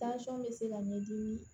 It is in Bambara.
bɛ se ka ɲɛdimi